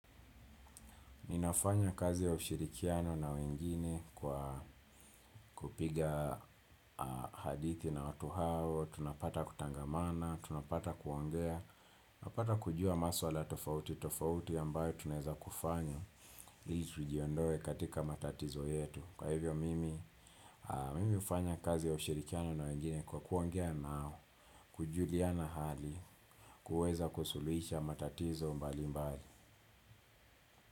Ninafanya kazi ya ushirikiano na wengine kwa kupiga hadithi na watu hao, tunapata kutangamana, tunapata kuongea, napata kujua maswala tofauti, tofauti ambayo tunaeza kufanya. Ili tujiondoe katika matatizo yetu. Kwa hivyo mimi, mimi ufanya kazi ya ushirikiano na wengine kwa kuongea nao, kujuliana hali, kuweza kusuluhisha matatizo mbalimbali.